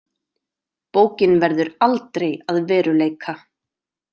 Bókin verður aldrei að veruleika.